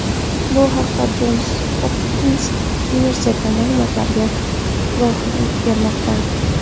Bu haqda Jons Hopkins universiteti ma’lumotlari guvohlik bermoqda.